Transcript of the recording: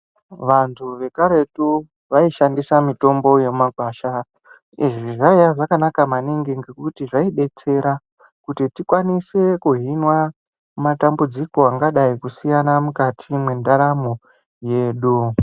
Vantu vekaretu vaishendisa mitombo yemuma gwasha izvi zvaiya zvakanaka maningi ngekuti zvaidetsera kuti tikwanise kuhinwa madambudziko angadai kusiyana mukati mwendaramo yedu.